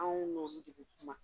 Anw n'olu de be kuma.